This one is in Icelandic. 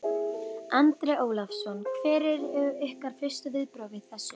Andri Ólafsson: Hver eru ykkar fyrstu viðbrögð við þessu?